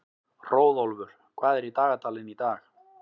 Hróðólfur, hvað er í dagatalinu í dag?